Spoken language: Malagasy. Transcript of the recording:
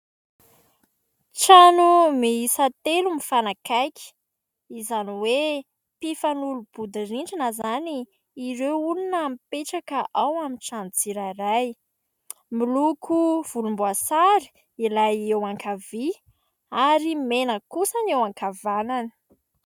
Trano miisa telo mifanakaiky izany hoe mpifanolobodirindrina izany ireo olona mipetraka ao amin'ny trano tsirairay. Miloko volomboasary ilay eo ankavia ary mena kosa ny eo ankavanana.